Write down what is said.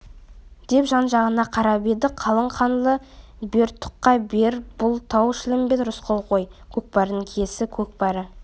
деп жан-жағына қарап еді қалың қаңлы бер тұқа бер бұл тау-шілмембет рысқұл ғой көкпардың киесі көкбөрі